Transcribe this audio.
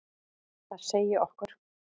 Það segi okkur: